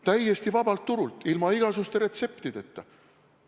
Täiesti vabalt turult, ilma igasuguste retseptideta.